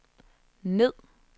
ned